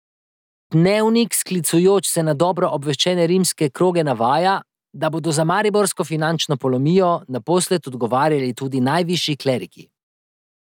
Dnevnik sklicujoč se na dobro obveščene rimske kroge navaja, da bodo za mariborsko finančno polomijo naposled odgovarjali tudi najvišji kleriki.